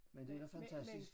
Men det da fantastisk